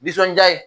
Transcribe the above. Nisɔndiya ye